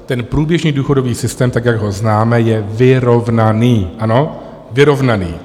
Ten průběžný důchodový systém tak, jak ho známe, je vyrovnaný, ano, vyrovnaný.